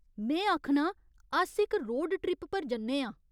में आखनां, अस इक रोड ट्रिप पर जन्ने आं।